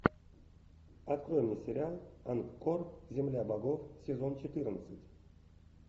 открой мне сериал ангкор земля богов сезон четырнадцать